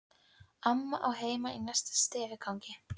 Amma á heima í næsta stigagangi.